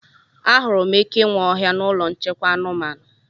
Ahụrụ m eke nwe ọhịa na ụlọ nchekwa anụmanụ